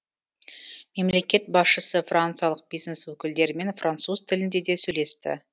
мемлекет басшысы франциялық бизнес өкілдерімен француз тілінде де сөйлесті